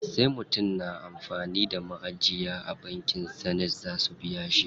Sai mutum yana da maʼajiya a bankin Access zaʼa biya shi.